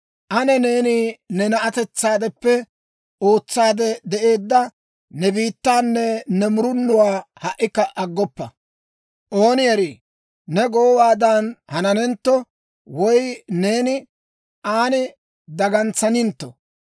«Ane neeni ne na'atetsaadeppe ootsaade de'eedda ne bitaanne ne murunuwaa ha"ikka aggoppa. Ooni erii, ne goowaadan hananentto; woy neeni aan dagantsanintto.